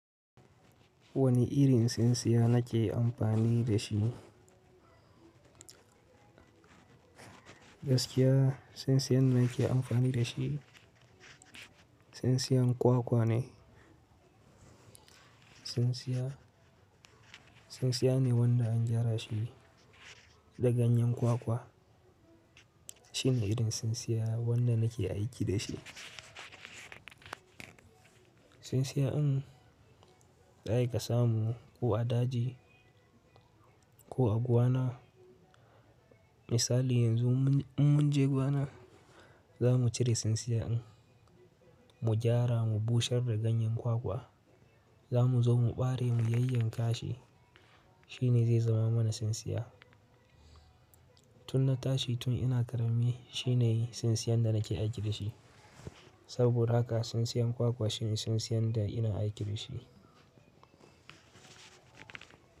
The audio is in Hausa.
Wane irin tsintsiya na ke amfani da shi? Gaskiya tsintsiyan da nake amfani da shi, tsintsiyan kwakwa ne. Tsintsiya, tsintsiya ne wanda an gyara shi da ganyen kwakwa. Shine irin tsintsiya wanda nake aiki da shi. Tsintsiya in za a yi kasamu ko a daji ko a gwana. Misali yanzu mun in mun je gwana za mu cire tsintsiya in mu gyara mu bushar da ganyen kwakwa. Za mu zo mu ɓare mu yayyanka shi. Shine zai zama mana tsintsiya. Tun na tashi tun ina ƙarami shine tsintsiyan da nake aiki da shi. Saboda haka tsintsiyan kwakwa shine tsintsiyan da ina aiki da shi.